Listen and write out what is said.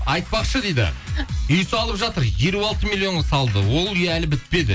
айытпақшы дейді үй салып жатыр елу алты миллионға салды ол үй әлі бітпеді